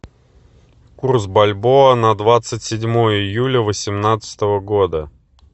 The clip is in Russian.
курс бальбоа на двадцать седьмое июля восемнадцатого года